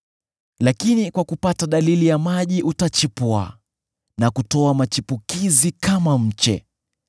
lakini kwa kupata dalili ya maji utachipua na kutoa machipukizi kama mche.